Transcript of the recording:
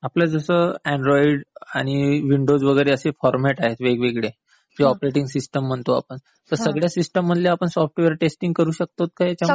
आपल्याला जसं अँड्रॉइड आणि विंडोज असे फॉरमॅट आहेत वेगवेगळे, जे ऑपरेटिंग सिस्टीम म्हणतो आपण, तर सगळ्या सिस्टीम मधले सॉफ्टवेअर आपण टेस्टिंग करू शकतो का ह्यांच्यामध्ये?